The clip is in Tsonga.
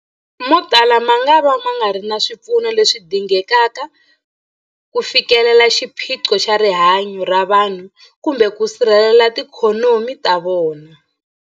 Motala mangava ma nga ri na swipfuno leswi dingekaka ku fikelela xiphiqo xa rihanyu ra vanhu kumbe ku sirhelela tiikhonomi ta vona.